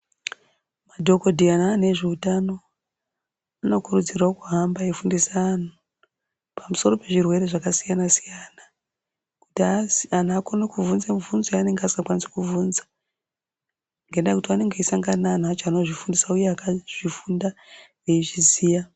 Madhokoteya nevantu vezvehutano vanokurudzirwa kuhamba veifundisa vantu pamusoro zvirwere zvakasiyana siyana kuti antu vakwanise kuvhunza mivhunzo yavasingakwanisi kuvhunza ngendaa yekuti vanenge veisangana nevantu vacho vanozvofundisa uye vakazvifunda veizviziya.